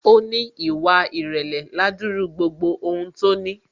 Ó ní ìwà ìrèlè ládúrú gbogbo ohun tó ní